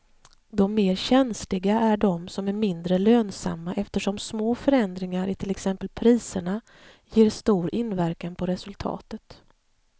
De mer känsliga är de som är mindre lönsamma eftersom små förändringar i till exempel priserna ger stor inverkan på resultatet.